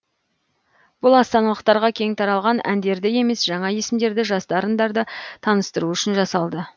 бұл астаналықтарға кең таралған әндерді емес жаңа есімдерді жас дарындарды таныстыру үшін жасалды